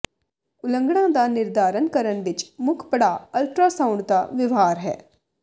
ਉਲੰਘਣਾ ਦਾ ਨਿਰਧਾਰਨ ਕਰਨ ਵਿੱਚ ਮੁੱਖ ਪੜਾਅ ਅਲਟਰਾਸਾਊਂਡ ਦਾ ਵਿਵਹਾਰ ਹੈ